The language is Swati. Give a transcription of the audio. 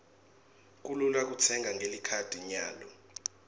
kulula kutsenga ngelikhadi nyalo